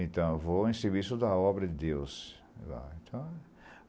Então, eu vou em serviço da obra de Deus.